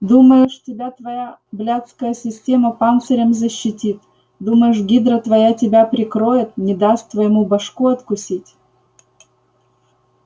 думаешь тебя твоя блядская система панцирем защитит думаешь гидра твоя тебя прикроет не даст твоему башку откусить